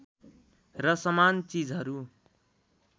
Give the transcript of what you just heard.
र समान चिजहरू